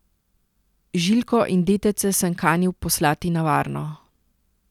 Žiljko in detece sem kanil poslati na varno.